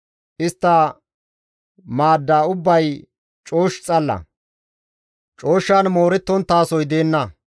Istta maadda ubbay coosh xalla; cooshshan moorettonttasoy deenna.